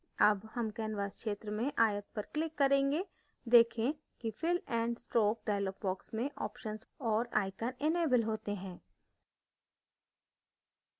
अब हम canvas क्षेत्र में आयत पर click करेंगे देखें कि fill and stroke dialog box में options और icons इनेबल होते हैं